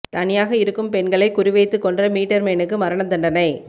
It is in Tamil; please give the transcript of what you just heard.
தனியாக இருக்கும் பெண்களை குறி வைத்துக் கொன்ற மீட்டர் மேனுக்கு மரண தண்டனை